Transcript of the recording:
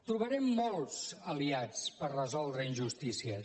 trobarem molts aliats per resoldre injustícies